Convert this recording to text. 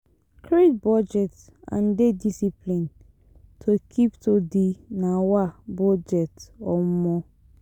Create budget and dey disciplined to keep to di um budget um